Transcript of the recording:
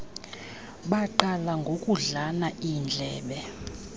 baqala ngokudlana iindlebe